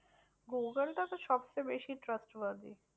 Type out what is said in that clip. Google টা তো সবচেয়ে বেশি trust বাদী।